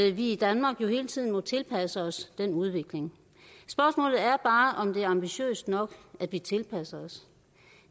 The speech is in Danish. at vi i danmark hele tiden må tilpasse os den udvikling spørgsmålet er bare om det er ambitiøst nok at vi tilpasser os